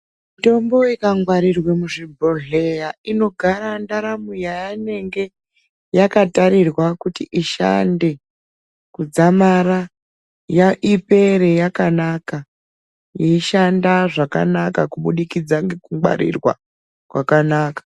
Mitombo ikangwarirwe muzvibhohleya inogara ndaramo yaanenge yakatarirwa kuti ishande kudzamara ipere yakanaka, yeishanda zvakanaka kubudikidza ngekungwarirwa kwakanaka.